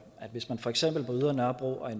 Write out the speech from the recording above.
at hvis man for eksempel på ydre nørrebro og